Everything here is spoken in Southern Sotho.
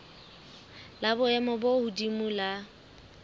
la boemo bo hodimo la